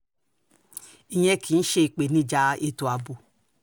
ìyẹn kì í ṣe ìpèníjà ètò ààbò